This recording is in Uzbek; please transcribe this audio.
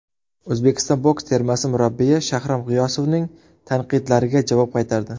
O‘zbekiston boks termasi murabbiyi Shahram G‘iyosovning tanqidlariga javob qaytardi.